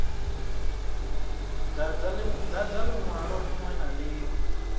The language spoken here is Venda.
dadza linwalo linwe na linwe